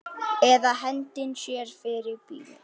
Eða hendi sér fyrir bíl.